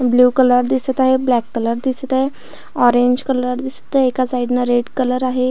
Blue colour दिसत आहे black colour दिसत आहे ऑरेंज कलर दिसत आहे एका साइड न रेड कलर आहे.